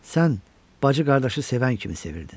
Sən bacı qardaşı sevən kimi sevirdin.